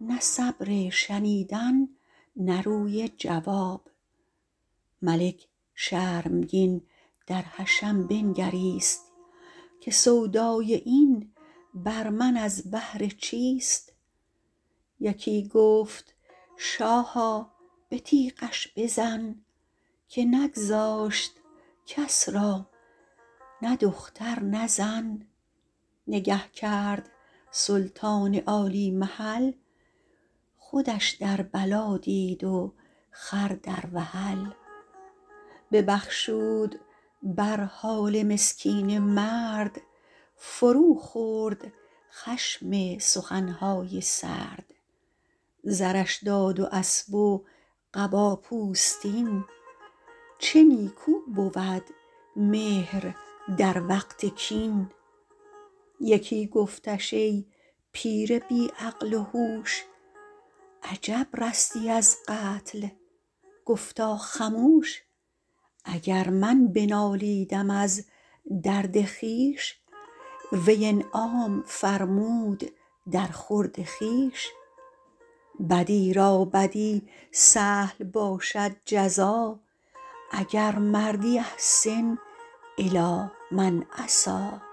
نه صبر شنیدن نه روی جواب ملک شرمگین در حشم بنگریست که سودای این بر من از بهر چیست یکی گفت شاها به تیغش بزن که نگذاشت کس را نه دختر نه زن نگه کرد سلطان عالی محل خودش در بلا دید و خر در وحل ببخشود بر حال مسکین مرد فرو خورد خشم سخن های سرد زرش داد و اسب و قبا پوستین چه نیکو بود مهر در وقت کین یکی گفتش ای پیر بی عقل و هوش عجب رستی از قتل گفتا خموش اگر من بنالیدم از درد خویش وی انعام فرمود در خورد خویش بدی را بدی سهل باشد جزا اگر مردی أحسن إلی من أساء